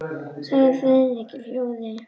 sagði Friðrik í hljóði.